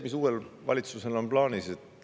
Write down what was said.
Mis on uuel valitsusel plaanis?